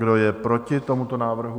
Kdo je proti tomuto návrhu?